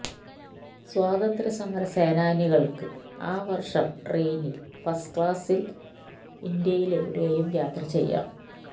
സ്വാതന്ത്ര്യസമരസേനാനികൾക്ക് ആ വർഷം ട്രെയിനിൽ ഫസ്റ്റ് ക്ലാസിൽ ഇൻഡ്യയിലെവിടെയും യാത്ര ചെയ്യാം